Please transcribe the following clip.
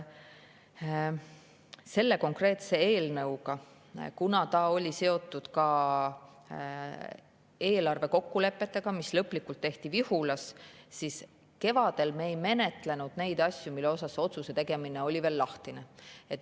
See konkreetne eelnõu oli seotud ka eelarve kokkulepetega, mis lõplikult tehti Vihulas, seetõttu kevadel me ei menetlenud neid asju, mille suhtes otsuse tegemine oli veel lahtine.